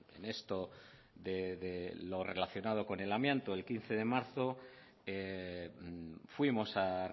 relacionado con el amianto el quince de marzo fuimos a